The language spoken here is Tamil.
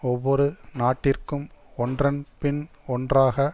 ஒவ்வொரு நாட்டிற்கும் ஒன்றன் பின் ஒன்றாக